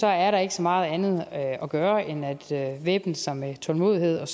er der ikke så meget andet at at gøre end at væbne sig med tålmodighed og